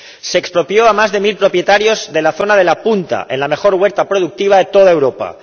Se expropió a más de mil propietarios de la zona de La Punta, en la mejor huerta productiva de toda Europa.